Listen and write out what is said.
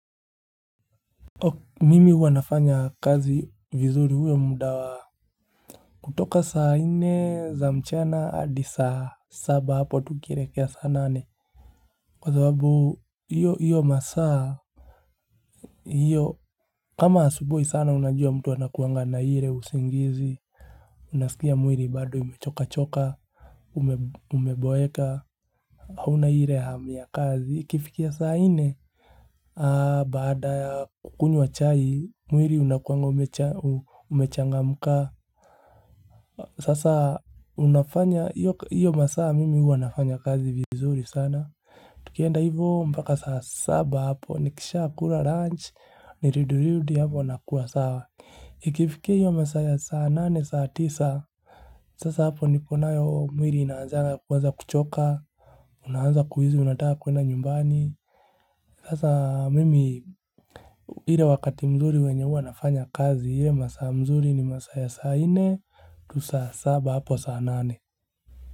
Mimi huwa nafanya kazi vizuri huo muda wa. Kutoka saa nne za mchana, hadi saa saba hapo tu ukielekea saa nane. Kwa sababu, hiyo masaa, hiyo, kama asubui sana unajua mtu anakuanga na ile, usingizi, unaskia mwili bado umechoka choka, umeboeka, huna ile hamu ya kazi. Ikifikia saa nne, baada ya kukunywa chai, mwili unakuanga umechangamka. Sasa unafanya, iyo masaa mimi huwanafanya kazi vizuri sana. Tukienda hivo mbaka saa saba hapo, nikisha kula lunch, niridurudi hapo nakuwa sawa. Ikifiki hiyo masaa ya saa nane, saa tisa, sasa hapo nipo nayo mwili inaanzaga kuanza kuchoka. Unaanza kuhisi, unataka kuenda nyumbani. Sasa mimi ile wakati mzuri wenye huwa nafanya kazi ile masaa mzuri ni masaa ya saa nne tu saa saba hapo saa nane.